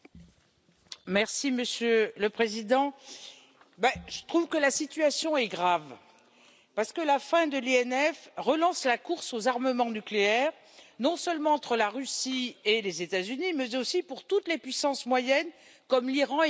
Monsieur le Président, je trouve que la situation est grave parce que la fin du traité FNI relance la course aux armements nucléaires, non seulement entre la Russie et les États Unis, mais aussi pour toutes les puissances moyennes, comme l'Iran et l'Arabie Saoudite.